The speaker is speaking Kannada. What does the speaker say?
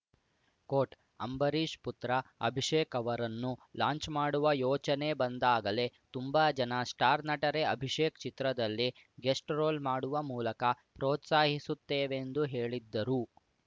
ಕೋಟ್‌ ಅಂಬರೀಶ್‌ ಪುತ್ರ ಅಭಿಷೇಕ್‌ ಅವರನ್ನು ಲಾಂಚ್‌ ಮಾಡುವ ಯೋಚನೆ ಬಂದಾಗಲೇ ತುಂಬಾ ಜನ ಸ್ಟಾರ್‌ ನಟರೇ ಅಭಿಷೇಕ್‌ ಚಿತ್ರದಲ್ಲಿ ಗೆಸ್ಟ್‌ ರೋಲ್‌ ಮಾಡುವ ಮೂಲಕ ಪ್ರೋತ್ಸಾಹಿಸುತ್ತೇವೆಂದು ಹೇಳಿದ್ದರು